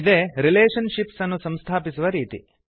ಇದೇ relationships ಅನ್ನು ಸಂಸ್ಥಾಪಿಸುವ ರೀತಿ